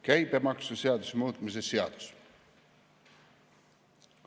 Käibemaksuseaduse muutmise seadus.